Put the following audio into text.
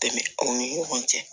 Dɛmɛ u ni ɲɔgɔn cɛ